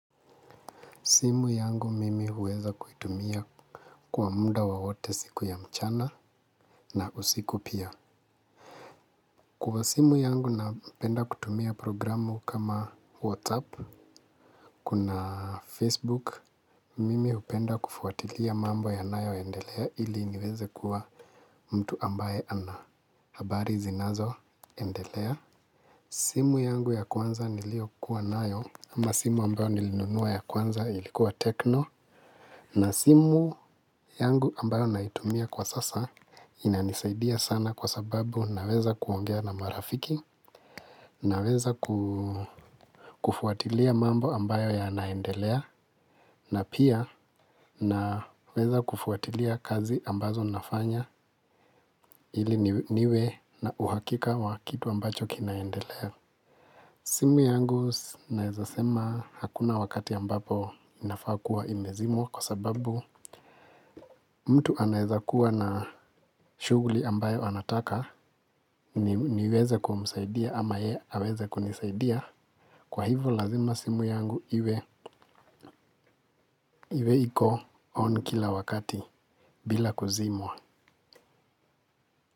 Simu yangu mimi huweza kuitumia kwa muda wowote siku ya mchana na usiku pia. Kwa simu yangu napenda kutumia programu kama "WhatsApp", kuna "Facebook", mimi hupenda kufuatilia mambo yanayoendelea, ili niweze kuwa mtu ambaye ana habari zinazoendelea. Simu yangu ya kwanza niliyokuwa nayo ama simu ambayo nilinunua ya kwanza ilikuwa "TECHNO". Na simu, yangu ambayo naitumia kwa sasa inanisaidia sana kwa sababu naweza kuongea na marafiki, naweza kufuatilia mambo ambayo yanaendelea, na pia naweza kufuatilia kazi ambazo nafanya, ili niwe na uhakika wa kitu ambacho kinaendelea. Simu yangu naweza sema, hakuna wakati ambapo inafaa kuwa imezimwa kwa sababu, mtu anaweza kuwa na shughuli ambayo anataka niweze kumsaidia ama yeye aweze kunisaidia. Kwa hivyo lazima simu yangu iwe, iko "on" kila wakati bila kuzimwa.